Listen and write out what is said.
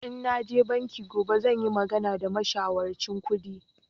In naje banki gobe zan yi magana da mashawarcin kudi